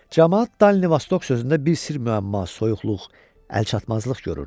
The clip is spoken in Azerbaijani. Camaat Dalnivostok sözündə bir sirr-məamma, soyuqluq, əlçatmazlıq görürdü.